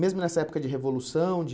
Mesmo nessa época de Revolução? De